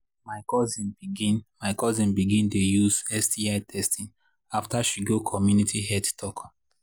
my cousin begin my cousin begin dey use sti testing after she go community health talk.